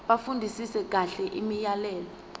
bafundisise kahle imiyalelo